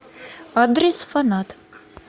адрес фанат